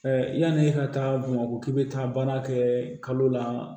yanni e ka taa bamakɔ ki bɛ taa baara kɛ kalo la